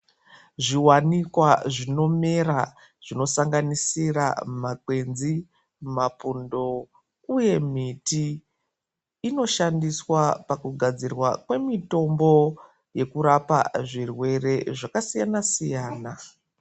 Zviwanikwa zvinomera kusanganisira makwenzi mapundo uye miti inoshandiswa pakugadzirwa kwemitombo yekurapa zvirwere zvakasiyana siyana.